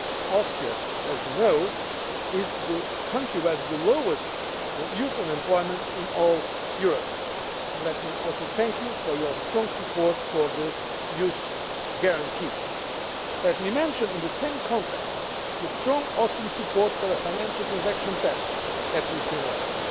Austria, as we know, is the country which has the lowest youth unemployment in all Europe, and let me also thank you for your strong support for the youth guarantee. Let me mention in the same context the strong Austrian support for a Financial Transaction Tax at European level.